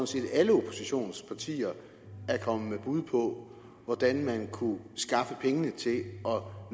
set at alle oppositionspartier er kommet med bud på hvordan man kunne skaffe pengene til at